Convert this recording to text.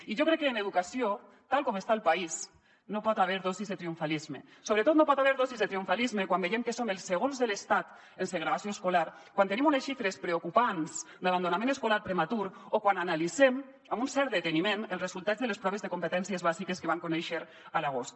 i jo crec que en educació tal com està el país no hi poden haver dosis de triomfalisme sobretot no hi poden haver dosis de triomfalisme quan veiem que som el segons de l’estat en segregació escolar quan tenim unes xifres preocupants d’abandonament escolar prematur o quan analitzem amb un cert deteniment els resultats de les proves de competències bàsiques que vam conèixer a l’agost